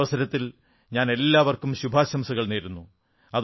ഈ അവസരത്തിൽ ഞാൻ എല്ലാവർക്കും ശുഭാംശംസകൾ നേരുന്നു